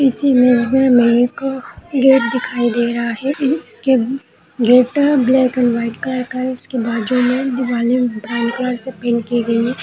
इस इमेज में हमें एक गेट दिखाई दे रहा है के gate black and white colour का है और उसके बाद जो हमें दीवाले ब्राउन कलर से पेट की गई है।